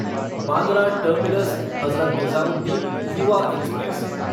Bandra terminus Hazrat Nizamuddin Yuva express